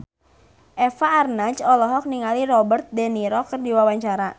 Eva Arnaz olohok ningali Robert de Niro keur diwawancara